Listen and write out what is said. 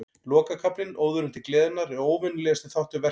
Lokakaflinn, Óðurinn til gleðinnar, er óvenjulegasti þáttur verksins.